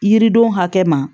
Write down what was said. Yiridenw hakɛ ma